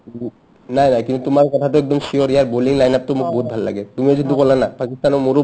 নাই নাই কিন্তু তোমাৰ কথাটো একদম sure ইয়াৰ bowling liner টো মোক বহুত ভাল লাগে তুমিও যোনটো কলা না পাকিস্তানৰ মোৰো